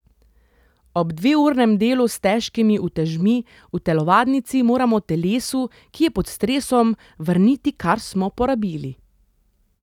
Ob dveurnem delu s težkimi utežmi v telovadnici moramo telesu, ki je pod stresom, vrniti, kar smo porabili.